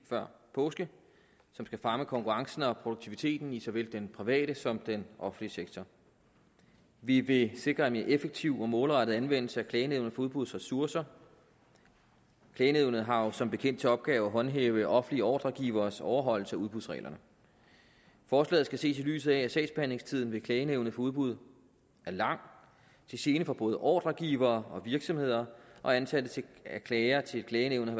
før påske som skal fremme konkurrencen og produktiviteten i såvel den private som den offentlige sektor vi vil sikre en mere effektiv og målrettet anvendelse af klagenævnet for udbuds ressourcer klagenævnet har jo som bekendt til opgave at håndhæve offentlige ordregiveres overholdelse af udbudsreglerne forslaget skal ses i lyset af at sagsbehandlingstiden i klagenævnet for udbud er lang til gene for både ordregivere og virksomheder og antallet af klager til klagenævnet